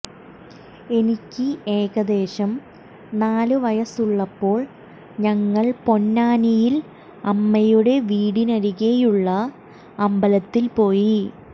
എനിക്ക് ഏകദേശം നാല് വയസ്സുള്ളപ്പാേൾ ഞങ്ങൾ പൊന്നാനിയിൽ അമ്മയുടെ വീടിനരികെയുള്ള അമ്പലത്തിൽ പോയി